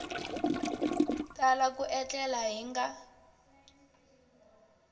tala ku etlela hi nga